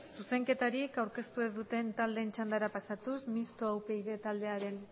zuzenketarik aurkeztu ez duten taldeen txandara pasatuz mistoa upyd taldearen